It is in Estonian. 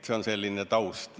See on selle eelnõu taust.